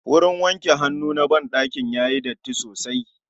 Wurin wanke hannu na ban ɗakin yayi datti sosai